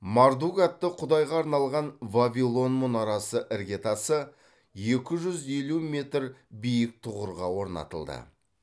мардук атты құдайға арналған вавилон мұнарасы іргетасы екі жүз елу метр биік тұғырға орнатылды